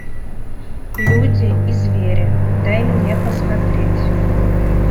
люди и звери дай мне посмотреть